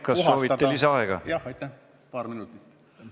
Kas soovite lisaaega?